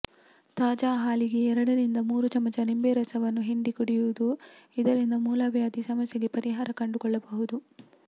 ತಾಜಾ ಹಾಲಿಗೆ ಎರಡರಿಂದ ಮೂರು ಚಮಚ ನಿಂಬೆರಸವನ್ನು ಹಿಂಡಿ ಕುಡಿಯುವುದು ಇದರಿಂದ ಮೂಲವ್ಯಾದಿ ಸಮಸ್ಯೆಗೆ ಪರಿಹಾರ ಕಂಡುಕೊಳ್ಳಬಹುದು